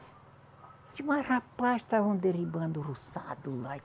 Mas rapaz, estavam derribando o roçado lá.